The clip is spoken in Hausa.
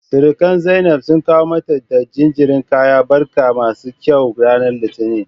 Sirikan Zainab sun kawo mata da jinjirin kayan barka masu kyau ranar Litinin.